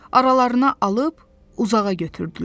Aralarına alıb uzağa götürdülər.